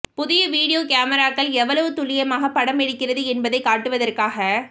புதிய வீடியோ மேமிராக்கள் எவ்வளவு துல்லியமாக படம் எடுக்கிறது என்பதை காட்டுவதற்காக